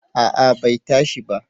A'a bai tashi ba